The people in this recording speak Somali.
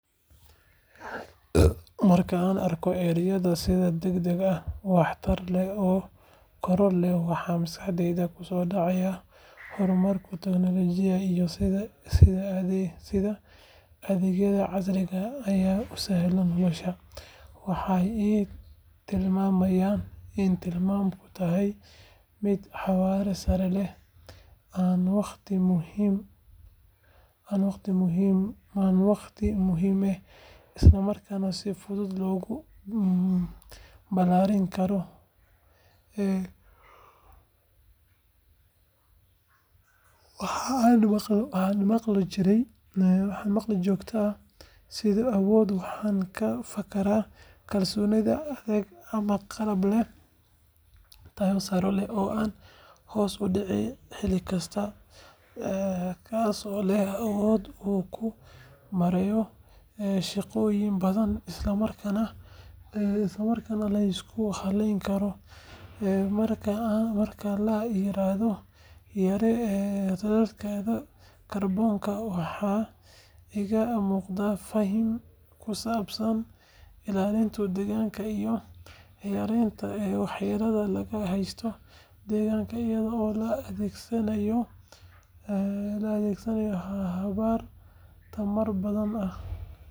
Marka aan arko erayada sida degdeg ah waxtar leh oo koror leh waxa maskaxdayda ku soo dhacaya horumarka tiknoolajiyadda iyo sida adeegyada casriga ah ay u sahlayaan nolosha. Waxay ii tilmaamayaan in nidaamku yahay mid xawaare sare leh, aan wakhti lumin, isla markaana si fudud loogu balaarin karo baahi kasta oo kordhata. Marka aan maqlo joogto iyo awood waxaan ka fakaraa kalsoonida adeeg ama qalab leh tayo sare oo aan hoos u dhicin xilli kasta, kaasoo leh awood uu ku maareeyo shaqooyin badan isla markaana la isku halleyn karo. Marka la yiraahdo yaree raadadka kaarboonka, waxa iiga muuqata fariin ku saabsan ilaalinta deegaanka iyo yareynta waxyeellada laga geysto deegaanka iyada oo la adeegsanayo habab tamar-badbaadin ah.